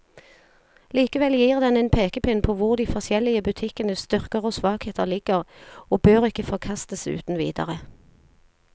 Likevel gir den en pekepinn på hvor de forskjellige butikkenes styrker og svakheter ligger, og bør ikke forkastes uten videre.